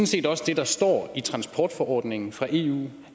set også det der står i transportforordningen fra eu